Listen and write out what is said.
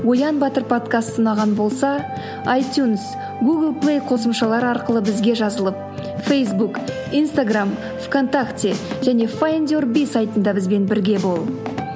оян батыр подкасты ұнаған болса айтюнс гугл плей қосымшалары арқылы бізге жазылып фейсбук инстаграмм в контакте және файндюрби сайтында бізбен бірге бол